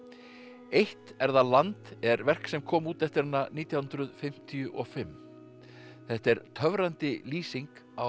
eitt er það land er verk sem kom út eftir hana nítján hundruð fimmtíu og fimm þetta er töfrandi lýsing á